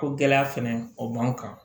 Ko gɛlɛya fɛnɛ o b'an kan